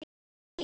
Þín, Hlín.